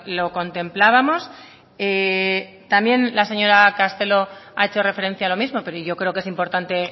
lo contemplábamos también la señora castelo ha hecho referencia a lo mismo pero yo creo que es importante